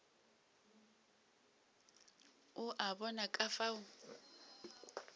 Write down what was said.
o a bona ka fao